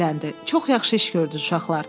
Çox yaxşı iş gördünüz, uşaqlar.